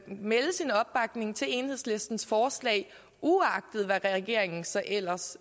melde sin opbakning til enhedslistens forslag uagtet hvad regeringen så ellers